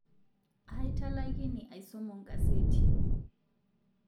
Aatalakini aisomo nkaseti